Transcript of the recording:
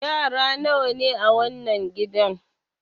Yara nawa ne a wannan gidan?